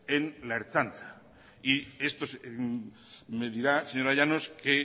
en la ertzaintza y esto me dirá señora llanos que